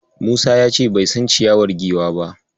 Musa ya ce bai san ciyawar Giwa ba.